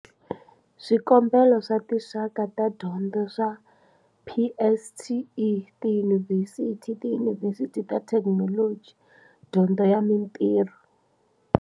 Swikombelo swa tinxaka ta tidyondzo swa PSET, tiyunivhesithi, tiyunivhesithi ta Thekinoloji, dyondzo ya mitirho.